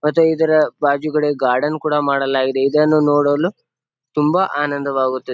ಮತ್ತೆ ಇದರ ಬಾಜಿ ಕಡೆ ಗಾರ್ಡನ್ ಕೂಡ ಮಾಡಲಾಗಿದೆ. ಇದನ್ನು ನೋಡಲು ತುಂಬಾ ಆನಂದ ವಾಗುತ್ತದೆ.